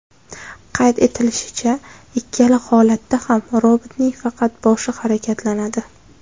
Qayd etilishicha, ikkala holatda ham robotning faqat boshi harakatlanadi.